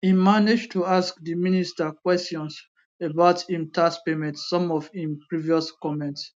im manage to ask di minister kwesions about im tax payment some of im previous comments